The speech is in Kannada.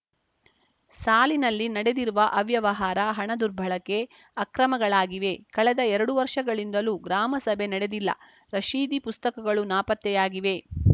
ಸಾಲಿನಲ್ಲಿ ನಡೆದಿರುವ ಅವ್ಯವಹಾರ ಹಣ ದುರ್ಬಳಕೆ ಅಕ್ರಮಗಳಾಗಿವೆ ಕಳೆದ ಎರಡು ವರ್ಷಗಳಿಂದಲೂ ಗ್ರಾಮಸಭೆ ನಡೆದಿಲ್ಲ ರಶೀದಿ ಪುಸ್ತಕಗಳು ನಾಪತ್ತೆಯಾಗಿವೆ